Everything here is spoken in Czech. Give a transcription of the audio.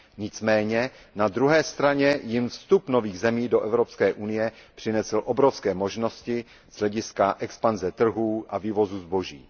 Nicméně, na druhé straně jim vstup nových zemí do Evropské unie přinesl obrovské možnosti z hlediska expanze trhů a vývozu zboží.